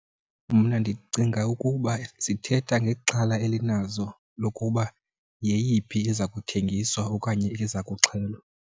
Mna ndicinga ukuba zithetha ngexhala elinazo lokuba yeyiphi eza kuthengiswa okanye eza kuxhelwa.